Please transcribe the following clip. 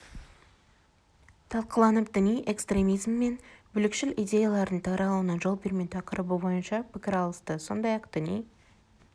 талқыланып діни экстремизм және бүлікшіл идеялардың таралуына жол бермеу тақырыбы бойынша пікір алысты сондай-ақ діни